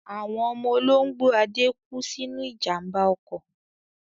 Àwọn ọmọ olóńgbò Ade kú sínú ìjàmbá ọkọ̀.